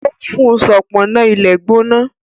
ó fún un ṣọpọnna ilé gbóná